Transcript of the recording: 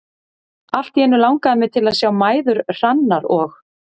Allt í einu langaði mig til að sjá mæður Hrannar og